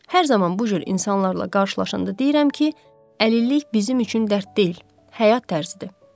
Hər zaman bu cür insanlarla qarşılaşanda deyirəm ki, əlillik bizim üçün dərd deyil, həyat tərzidir.